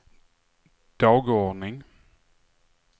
dagordning